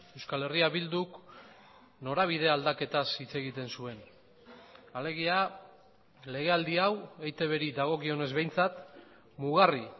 euskal herria bilduk norabide aldaketaz hitz egiten zuen alegia legealdi hau eitb ri dagokionez behintzat mugarri